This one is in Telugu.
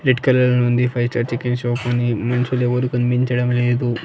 రెడ్ కలర్ లో ఉంది ఫైవ్ స్టార్ చికెన్ షాప్ అని మనుషులు ఎవరూ కనిపించడం లేదు.